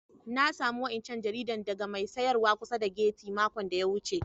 Na samu wa'incan jarida daga mai sayarwa kusa da gati' makon da ya wuce.